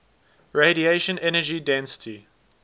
radiation energy density